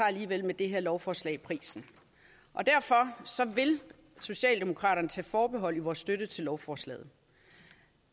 alligevel med det her lovforslag prisen derfor vil socialdemokraterne tage forbehold i vores støtte til lovforslaget